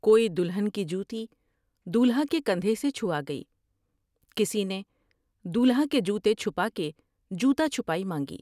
کوئی دلہن کی جوتی دولہا کے کندھے سے چھوا گئی کسی نے دولہا کے جوتے چھپا کے جوتا چھپائی مانگی ۔